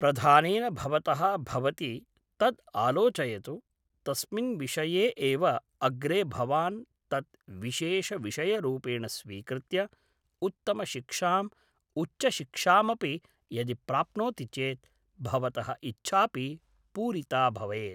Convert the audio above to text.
प्रधानेन भवतः भवति तद् आलोचयतु तस्मिन् विषये एव अग्रे भवान् तत् विशेषविषयरूपेण स्वीकृत्य उत्तमशिक्षाम् उच्चशिक्षामपि यदि प्राप्नोति चेत् भवतः इच्छापि पूरिता भवेत्